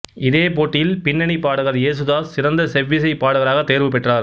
இதே போட்டியில் பின்னணிப் பாடகர் யேசுதாஸ் சிறந்த செவ்விசைப் பாடகராக தேர்வு பெற்றார்